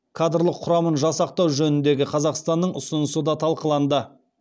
кадрлық құрамын жасақтау жөніндегі қазақстанның ұсынысы да талқыланды